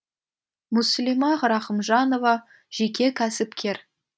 мүслима рахымжанова жеке кәсіпкер